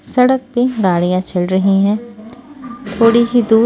सड़क पे गाड़ियां चल रही हैं थोड़ी ही दूर--